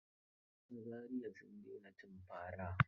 A Zariya sun daina cin fara.